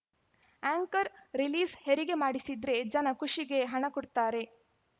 anchor ರಿಲೀಸ್‌ಹೆರಿಗೆ ಮಾಡಿಸಿದ್ರೆ ಜನ ಖುಷಿಗೆ ಹಣ ಕೊಡ್ತಾರೆ